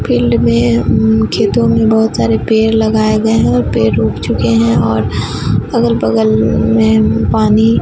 field में खेतों में बहोत सारे पेड़ लगाए गए हैं और पेड़ उग चुके है और अगल बगल में पानी--